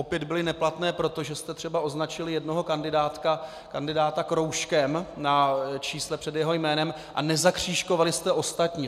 Opět byly neplatné, protože jste třeba označili jednoho kandidáta kroužkem na čísle před jeho jménem a nezakřížkovali jste ostatní.